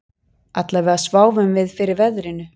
Allavega sváfum við fyrir veðrinu